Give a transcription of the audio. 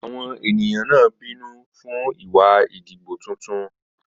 Àwọn ènìyàn náà bínú fún ìwà ìdìbò tuntun.